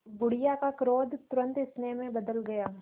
बुढ़िया का क्रोध तुरंत स्नेह में बदल गया